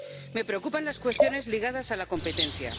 Me preocupan las cuestiones ligadas a la competencia.